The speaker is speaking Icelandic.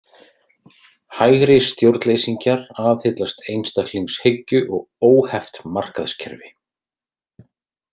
Hægri stjórnleysingjar aðhyllast einstaklingshyggju og óheft markaðskerfi.